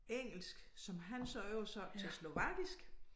Engelsk som han så oversatte til slovakisk